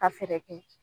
Ka fɛɛrɛ kɛ